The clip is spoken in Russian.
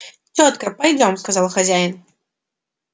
тётка пойдём сказал хозяин